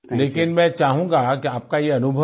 लेकिन मैं चाहूंगा कि आपका ये अनुभव